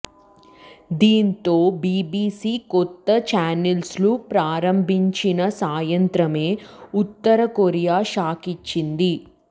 దీంతో బీబీసీ కొత్త ఛానల్ను ప్రారంభించిన సాయంత్రమే ఉత్తర కొరియా షాకిచ్చింది